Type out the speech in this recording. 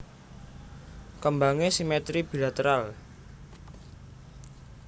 Kembangé simetri bilateral